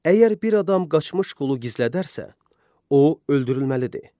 Əgər bir adam qaçmış qulu gizlədərsə, o öldürülməlidir.